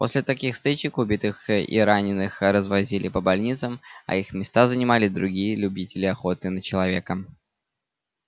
после таких стычек убитых и раненых развозили по больницам а их места занимали другие любители охоты на человека